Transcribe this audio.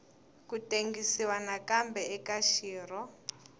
ku tengisiwa nakambe eka xirho